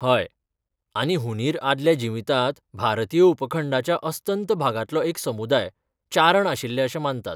हय. आनी हुंदीर आदल्या जिवितांत भारतीय उपखंडाच्या अस्तंत भागांतलो एक समुदाय, चारण आशिल्ले अशें मानतात, .